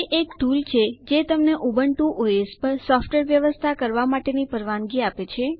તે એક ટુલ છે જે તમને ઉબુન્ટુ ઓએસ પર સોફ્ટવેર વ્યવસ્થા કરવા માટેની પરવાનગી આપે છે